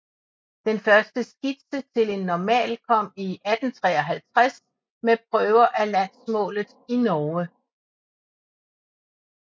Den første skitse til en normal kom i 1853 med Prøver af Landsmaalet i Norge